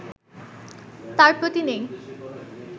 তার প্রতি নেই